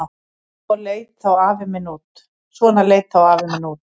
Svona leit þá afi minn út.